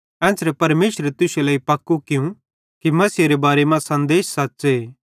एन्च़रे परमेशरे तुश्शे लेइ पक्कू कियूं कि मसीहेरे बारे मां सन्देश सच़्च़े